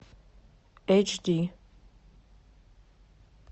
эйч ди